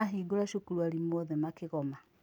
Mahingũra cukuru arimũ othe makĩgoma.